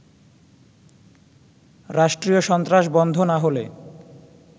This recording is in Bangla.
রাষ্ট্রীয় সন্ত্রাস বন্ধ না হলে